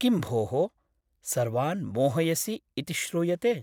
किं भोः , सर्वान् मोहयसि इति श्रूयते !!